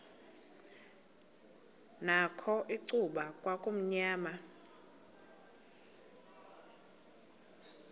nakho icuba kwakumnyama